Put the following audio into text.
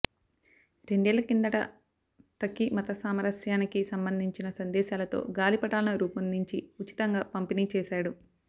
రెండేళ్ళ కిందట తఖీ మతసామరస్యానికి సంబంధించిన సందేశాలతో గాలిపటాలను రూపొందించి ఉచితంగా పంపిణీ చేశాడు